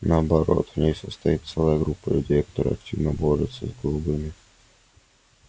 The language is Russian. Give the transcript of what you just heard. наоборот в ней состоит целая группа людей которая активно борется с голубыми